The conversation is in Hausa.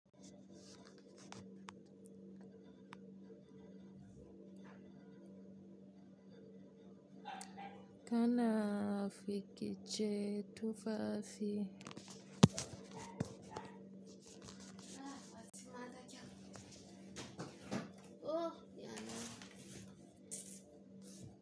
Kana binkicen tufafi.